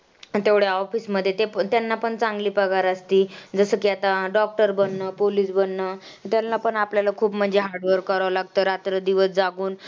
आणि तेवढ्या office मध्ये ते त्यांना पण छानगली पगार असती. जसं की आता doctor बनणं, police बनणं त्यांना पण आपल्याला खूप म्हणजे hard work करावं लागतं. रात्रंदिवस जागून.